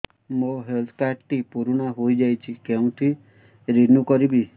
ମୋ health card ଟି ପୁରୁଣା ହେଇଯାଇଛି କେଉଁଠି ରିନିଉ କରିବି